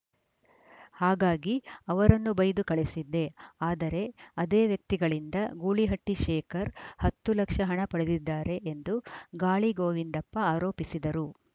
ಹಾಗಾಗಿ ಅವರನ್ನು ಬೈದು ಕಳಿಸಿದ್ದೆ ಆದರೆ ಅದೇ ವ್ಯಕ್ತಿಗಳಿಂದ ಗೂಳಿಹಟ್ಟಿಶೇಖರ್‌ ಹತ್ತು ಲಕ್ಷ ಹಣ ಪಡೆದಿದ್ದಾರೆ ಎಂದು ಗಾಳಿ ಗೋವಿಂದಪ್ಪ ಆರೋಪಿಸಿದರು